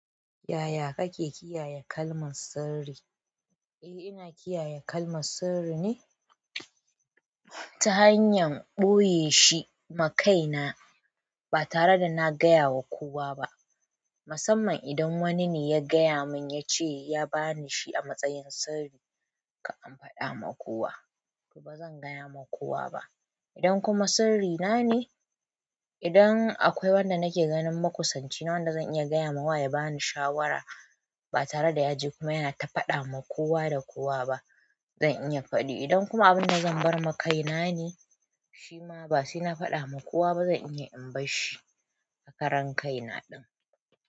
Yaya kake kiyaye kalmar sirri? Eh ina kiyaye kalmar sirri ne ta hanyan ɓoye shi ma kaina ba tare da na gaya wa kowa ba. Musamman idan wani ne ya gaya mun yace ya bani shi a matsayin sirri, ka imfada ma kowa to bazan gaya ma kowa ba. In kuma sirri nane idan in akwai wanda nake ganin makusanci na wanda zan iya gayama wa ya bani shawara ba tare da ya je kuma yana ta faɗa ma kowa da kowa ba, zan iya faɗi. Idan kuma abin da zan bar ma kaina ne, shi ma ba sai na faɗa ma kowa ba zan iya in bar shi a karan kaina ɗin.